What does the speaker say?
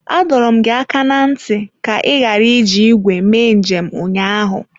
Adọọrọ m gị aka na ntị ka ị ghara iji igwe mee njem ụnyaahụ!